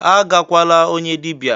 "Agakwala onye dibia!"